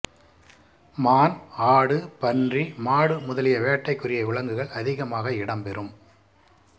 மான் ஆடு பன்றி மாடு முதலிய வேட்டைக்குரிய விலங்குகள் அதிகமாக இடம் பெறும்